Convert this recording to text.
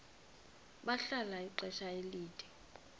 bahlala ixesha elide